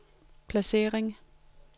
placering